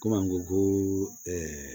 Komi an ko ko ɛɛ